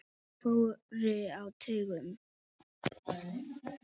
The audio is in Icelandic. Þeir fóru á taugum.